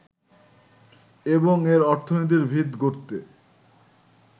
এবং এর অর্থনীতির ভিত গড়তে